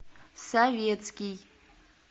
советский